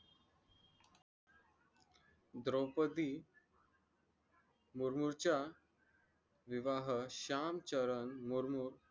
द्रौपदी मुर्मूच्या विवाह शाम चरण मुर्मू